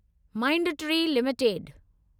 Mindtree limited